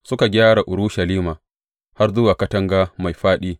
Suka gyara Urushalima har zuwa Katanga Mai Faɗi.